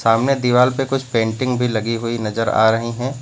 सामने दिवाल पे कुछ पेंटिंग भी लगी हुई नजर आ रही है।